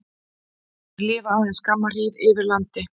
Þeir lifa aðeins skamma hríð yfir landi.